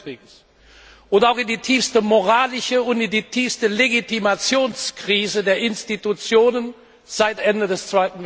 2. Weltkrieges und auch in die tiefste moralische und die tiefste Legitimationskrise der Institutionen seit Ende des